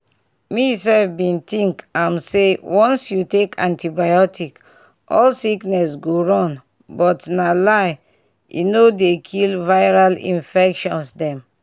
me sef bin think um say once you take antibiotic all sickness go run but na lie e no dey kill viral infecttions dem